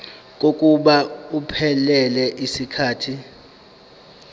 kokuba iphelele yisikhathi